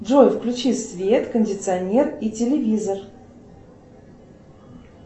джой включи свет кондиционер и телевизор